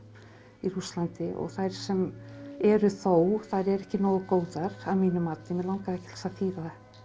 í Rússlandi og þær sem eru þó þær eru ekki nógu góðar að mínu mati mig langaði ekki til þess að þýða